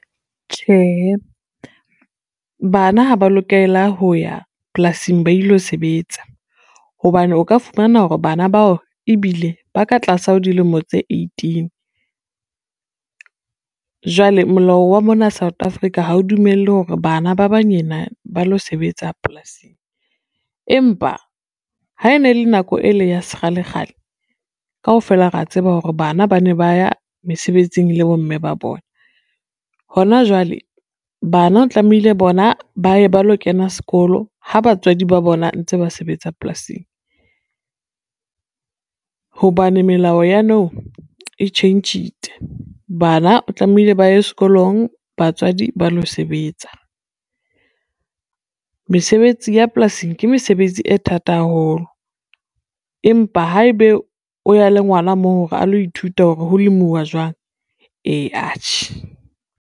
Tjhehe, bana ha ba lokela ho ya polasing ba ilo sebetsa, hobane o ka fumana hore bana bao ebile ba ka tlasa ho dilemo tse eighteen, jwale molao wa mona South Africa ha o dumelle hore bana ba banyena ba lo sebetsa polasing. Empa ha e ne le nako e le ya sekgalekgale, kaofela re a tseba hore bana ba ne ba ya mesebetsing le bomme ba bona, hona jwale bana tlamehile bona ba ye ba lo kena sekolo ha batswadi ba bona ntse ba sebetsa polasing, hobane melao ya nou e tjhentjhitse bana o tlamehile ba ye sekolong, batswadi ba lo sebetsa. Mesebetsi ya polasing ke mesebetsi e thata haholo, empa haebe o ya le ngwana moo hore a lo ithuta hore ho lemuwa jwang? Ee atjhe.